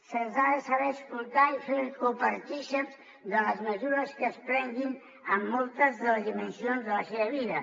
se’ls ha de saber escoltar i fer copartícips de les mesures que es prenguin en moltes de les dimensions de la seva vida